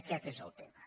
aquest és el tema